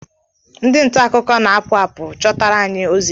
Ndị nta akụkọ na-apụ apụ chọtara anyị ozi.